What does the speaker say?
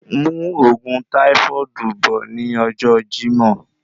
Mú òògùn táífọ́ọ̀dù bọ̀ ní ọjọ Jimoh